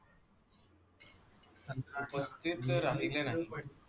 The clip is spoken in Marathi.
उपस्थित राहिल्या नाही.